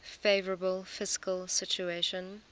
favourable fiscal situation